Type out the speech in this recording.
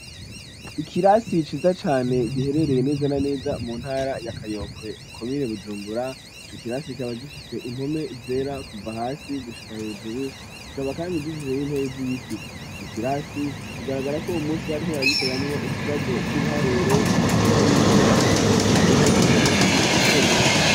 Ikirasi ciza cane giherereye neza na neza mu ntara ya kayokwe komine bujumbura ico kirasi ikaba gifise impome zera kuva hasi gushika hejuru gikaba kandi gifise n'intebe z'ibiti ico kirasi bigaragarako uwo munsi bari ko baragikoreramwo ikibazo c'ibiharuro kubera yuko arico cari kigezweho uwo munsi gukogwa.